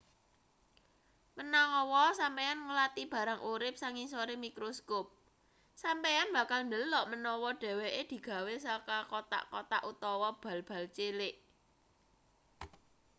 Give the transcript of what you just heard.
menawa sampeyan ngulati barang urip sangisore mikroskop sampeyan bakal ndelok menawa dheweke digawe saka kothak-kothak utawa bal-bal cilik